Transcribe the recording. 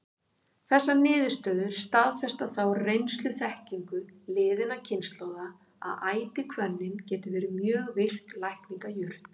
Þessar niðurstöður staðfesta þá reynsluþekkingu liðinna kynslóða, að ætihvönnin getur verið mjög virk lækningajurt.